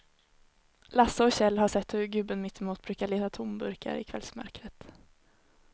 Lasse och Kjell har sett hur gubben mittemot brukar leta tomburkar i kvällsmörkret.